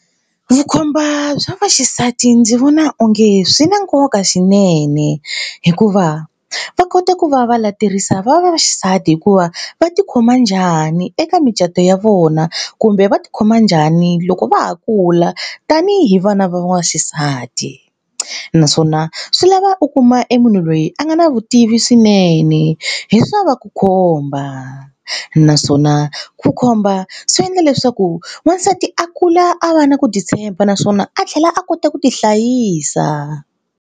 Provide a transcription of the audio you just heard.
Vukhomba bya vaxisati ndzi vona onge swi na nkoka swinene hikuva va kota ku va va leterisa vavaxisati hikuva va tikhoma njhani eka micato ya vona kumbe va tikhoma njhani loko va ha kula la tanihi vana va waxisati naswona swi lava u kuma e munhu loyi a nga na vutivi swinene hi swa va ku khomba naswona ku khomba swi endla leswaku n'wansati a kula a va na ku titshemba naswona a tlhela a kota ku tihlayisa.